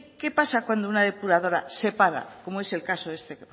qué pasa cuando una depuradora se para como es el caso este